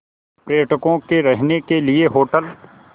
पर्यटकों के रहने के लिए होटल